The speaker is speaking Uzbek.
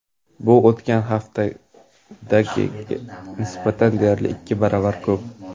Bu o‘tgan haftadagiga nisbatan deyarli ikki barobar ko‘p.